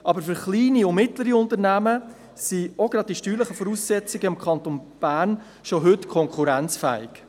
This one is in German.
Aber für kleine und mittlere Unternehmen sind gerade auch die steuerlichen Voraussetzungen im Kanton Bern schon heute konkurrenzfähig.